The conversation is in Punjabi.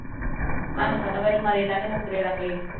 ਤੁਹਾਨੂੰ ਪਤਾ ਫਿਰ ਮਰੇ ਦਾ ਤੇ ਮੁਕਰੇ ਦਾ ਕੋਈ